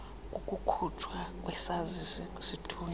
kokukhutshwa kwesazisi sithunyelwa